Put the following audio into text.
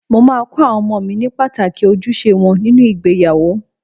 Mo máa kọ àwọn ọmọ mi ní pàtàkì ojúṣe wọn nínú ìgbéyàwó.